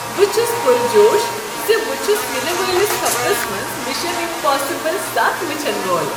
بہٕ چھس پرجوش ز بہٕ چھس ینہٕ وٲلس ہفتس منٛز مشن امپاسبل ستھ وٕچھن وول۔